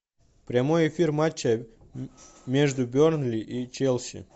прямой эфир матча между бернли и челси